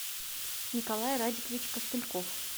николай радикович костыльков